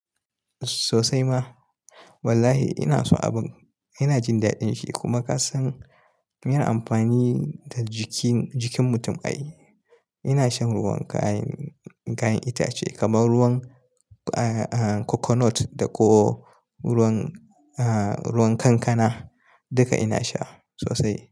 Sosai ma. Wallahi ina so abun, ina jin daɗin shi kuma ka san yin amfani da jikin, jikin mutum ai. Ina shan ruwan kayan, kayan itace kamar ruwan, eh, eh coconut ko ruwan, eh ruwan kankana duka ina sha sosai.